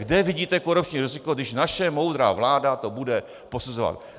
Kde vidíte korupční riziko, když naše moudrá vláda to bude posuzovat?